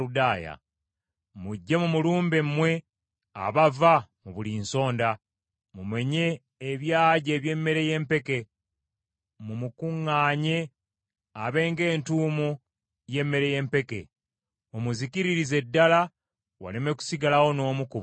Mujje mumulumbe mmwe abava mu buli nsonda, mumenye ebyagi eby’emmere y’empeke, mumukuŋŋaanye abe ng’entuumo y’emmere y’empeke. Mumuzikiririze ddala; waleme kusigalawo n’omu ku bo.